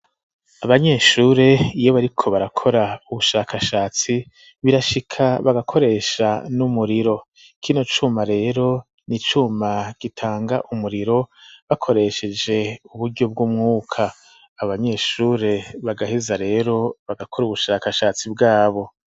Abanyeshure iyo bariko barakora ubushakashatsi birashika bagakoresha n'umuriro kino cuma rero n'icuma gitanga umuriro bakoresheje uburyo bw'umwuka abanyeshure bagaheza rero bagakora ubushakashatsi bwabo.